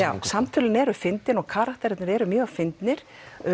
samtölin eru fyndin og karakterarnir eru mjög fyndnir